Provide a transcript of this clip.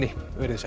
veriði sæl